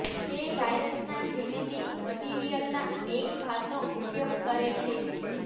તે વાઈરસના જેનેટિક મટિરિયલના એક ભાગનો ઉપયોગ કરે છે